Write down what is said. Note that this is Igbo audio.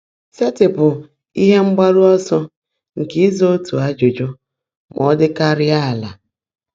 Sèetịpụ́ íhe mgbaárụ́ ọ́sọ́ nkè ị́zá ótú ájụ́jụ́ má ọ́ ḍị́káárị́á álá.